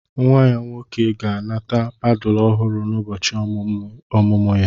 Nwa ya nwoke ga-anata padulu ọhụrụ n'ụbọchị emume ọmụmụ ya